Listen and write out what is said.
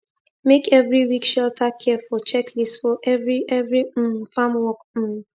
make every week shelter care for checklist for every every um farmwork um